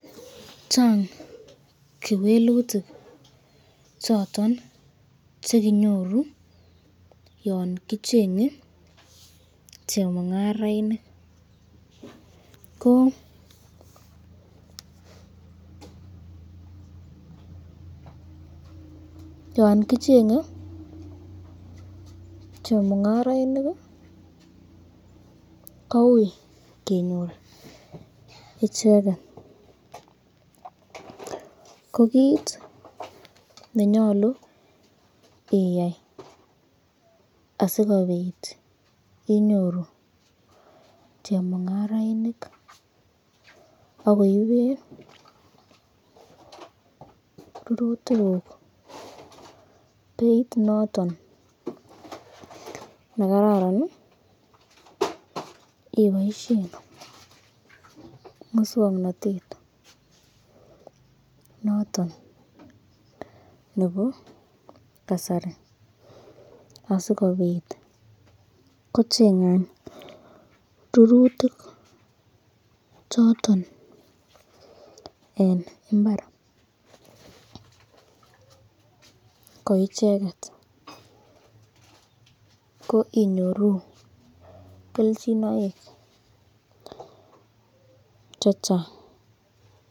Chang kewelutik choton chekinyoru yon kichenge chemungarainik, ko yon kichenge chemungarainik ko ui kenyor icheket, ko kit nenyalu iyai asikobit inyoru chemungarainik akoiben rurutikuk beit noton nekararan iboishen muswoknotet noton nebo kasari asikobit kochengan. rurutik choton eng imbar ko icheket ko inyoru kelchinoik chengang.